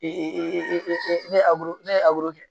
ne ye ne ye kɛ